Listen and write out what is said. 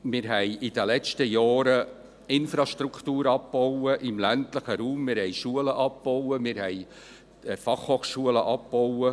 Wir haben in den letzten Jahren Infrastruktur im ländlichen Raum abgebaut, wir haben Schulen und Fachhochschulen abgebaut.